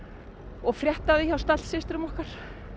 og frétta af því hjá stallsystrum okkar